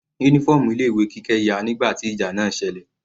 Uniform ilé ìwé Kike ya nígbà tí ìjà náà selẹ̀.